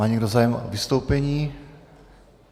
Má někdo zájem o vystoupení?